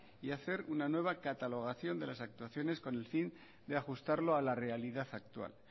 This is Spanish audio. y hacer una nueva catalogación de las actuaciones con el fin de ajustarlo a la realidad actual